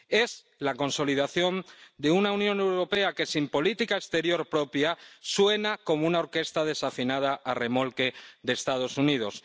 Es la consolidación de una Unión Europea que, sin política exterior propia, suena como una orquesta desafinada a remolque de Estados Unidos.